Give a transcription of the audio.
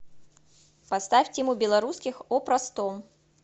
поставь тиму белорусских о простом